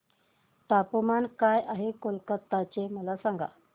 तापमान काय आहे कलकत्ता चे मला सांगा